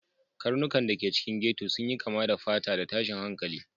Karnukan da ke cikin ghetto sun yi kama da fata da tashin hankali